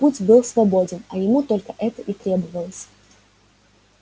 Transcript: путь был свободен а ему только это и требовалось